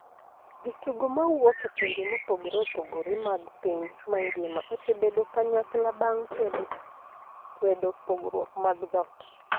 Jotugo ma wuok e pinje mopogore opogore mag piny mangima osebedo kanyakla bang' kwedo kwedo pogruok mag dhot